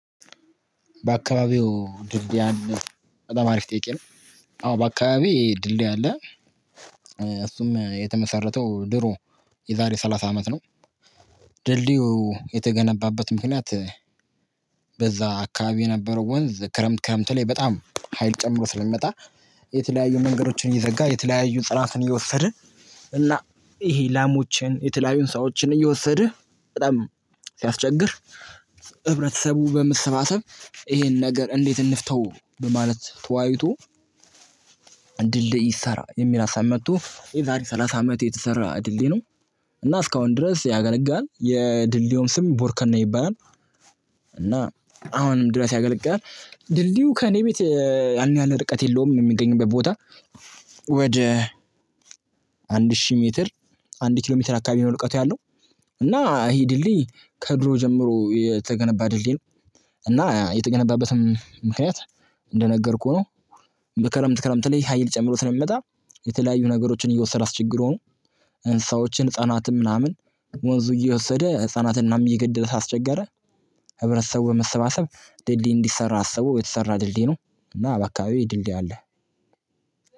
በአካባቢዎ ድልድይ በጣም አሪፍ ጥያቄ ነው። አዎ በአካባቢዬ ድልድይ አለ። እሱም የተመሰረተው ድሮ የዛሬ ሰላሳ አመት ነው። ድልድዩ የተገነባበት ምክንያት። በዛ አካባቢ የነበረው ወንዝ ክረምት ክረምት ላይ በጣም ሀይል ጨምሮ ስለሚመጣ። የተለያዩ መንገዶችን እየዘጋ የተለያዩ ህፅዋትን እየወሰድን እና ይሄ ላሞችን የተለያዩን ሰዎችን እየወሰደ በጣም ሲያስቸግር። ህብረተሰቡ በመሰባሰብ ይሄን ነገር እንዴት እንፍታው? በማለት ተወያይቶ ድልድይ ይሰራ የሚል ሀሳብ መጥቶ የዛሬ ሰላሳ አመት የተሰራ ድልድይ ነው። እና እስካሁን ድረስ ያገለግላል የድልድዮን ስም ቦርከና ይባላል። እና አሁንም ድረስ ያገለግላል። ድልድዩ ከእኔ ቤት ያን ያህል ርቀት የለውም የሚገኝበት ቦታ። ወደ አንድ ሺህ ሜትር አንድ ኪሎ ሜትር አካባቢ ነው ልቀቱ ያለው። እና ይሄ ድልድይ ከድሮ ጀምሮ የተገነባ ድልድይ ነው። እና የተገነባበትም ምክንያት እንደነገርኩህ ነው። በክረምት ክረምት ላይ ሀይል ጨምሮ ነው ስለሚመጣ የተለያዩ ነገሮችን እየወሰደ ችግር ሆኖ። እንስሳዎችን ህፃናትን ምናምን ወንዙ እየወሰደ ህፃናትን እናም እየገደለ አስቸገረ። ህብረተሰቡ በመሰባሰብ ድልድይ እንዲሰራ አሰቡ የተሰራ ድልድይ ነው። እና አባካቢዬ ድልድይ አለ።